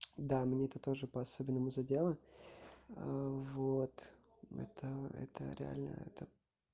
да мне это тоже по-особенному задела вот это это реально это